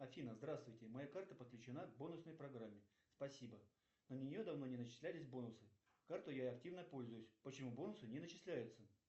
афина здравствуйте моя карта подключена к бонусной программе спасибо на нее давно не начислялись бонусы картой я активно пользуюсь почему бонусы не начисляются